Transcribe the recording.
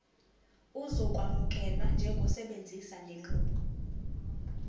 uzokwamukelwa njengosebenzisa lenqubo